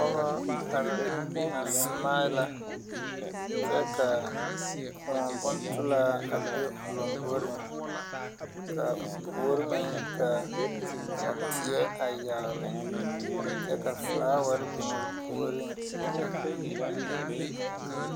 Pogɔ are a smila kyɛ kaa kòɔ bontolaa a be o lomboreŋ ka o puori meŋ ka teɛ a yagle kyɛ ka flaaware a biŋ o puoɔriŋ.